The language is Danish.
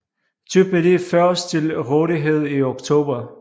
Type D først til rådighed i Oktober